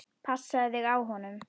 Passaðu þig á honum.